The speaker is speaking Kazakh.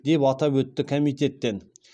деп атап өтті комитеттен